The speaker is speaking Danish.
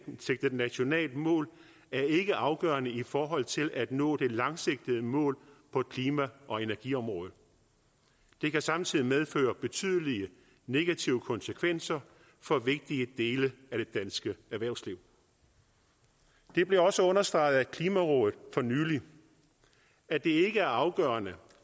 nationalt mål er ikke afgørende i forhold til at nå det langsigtede mål på klima og energiområdet det kan samtidig medføre betydelige negative konsekvenser for vigtige dele af det danske erhvervsliv det blev også understreget af klimarådet for nylig at det ikke er afgørende